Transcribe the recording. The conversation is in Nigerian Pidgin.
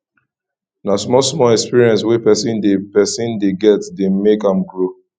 na small small experience wey person dey person dey get dey make am grow